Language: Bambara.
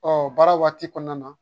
Ɔ baara waati kɔnɔna na